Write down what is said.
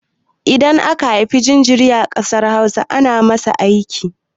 Idan aka haifa jinjiri a ƙasar Hausa, ana masa aski.